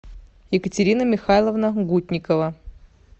екатерина михайловна гутникова